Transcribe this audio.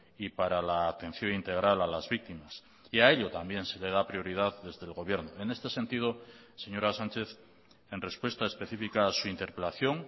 y para la atención integral a las víctimas y a ello también se le da prioridad desde el gobierno en este sentido señora sánchez en respuesta específica a su interpelación